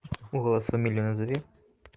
в голос фамилию назови